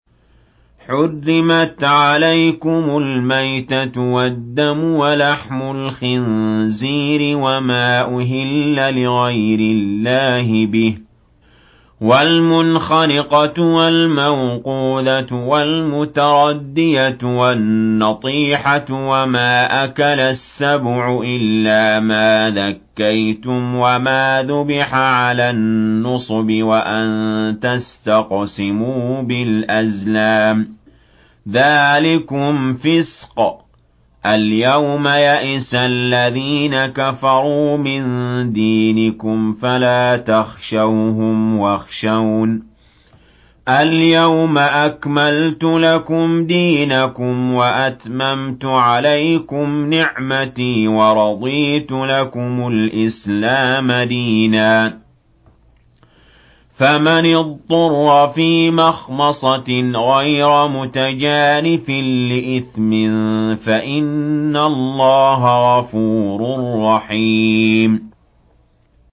حُرِّمَتْ عَلَيْكُمُ الْمَيْتَةُ وَالدَّمُ وَلَحْمُ الْخِنزِيرِ وَمَا أُهِلَّ لِغَيْرِ اللَّهِ بِهِ وَالْمُنْخَنِقَةُ وَالْمَوْقُوذَةُ وَالْمُتَرَدِّيَةُ وَالنَّطِيحَةُ وَمَا أَكَلَ السَّبُعُ إِلَّا مَا ذَكَّيْتُمْ وَمَا ذُبِحَ عَلَى النُّصُبِ وَأَن تَسْتَقْسِمُوا بِالْأَزْلَامِ ۚ ذَٰلِكُمْ فِسْقٌ ۗ الْيَوْمَ يَئِسَ الَّذِينَ كَفَرُوا مِن دِينِكُمْ فَلَا تَخْشَوْهُمْ وَاخْشَوْنِ ۚ الْيَوْمَ أَكْمَلْتُ لَكُمْ دِينَكُمْ وَأَتْمَمْتُ عَلَيْكُمْ نِعْمَتِي وَرَضِيتُ لَكُمُ الْإِسْلَامَ دِينًا ۚ فَمَنِ اضْطُرَّ فِي مَخْمَصَةٍ غَيْرَ مُتَجَانِفٍ لِّإِثْمٍ ۙ فَإِنَّ اللَّهَ غَفُورٌ رَّحِيمٌ